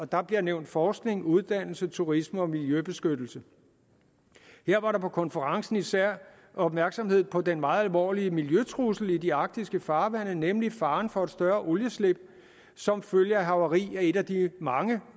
der bliver nævnt forskning uddannelse turisme og miljøbeskyttelse her var der på konferencen især opmærksomhed på den meget alvorlige miljøtrussel i de arktiske farvande nemlig faren for et større olieudslip som følge af havari af et af de mange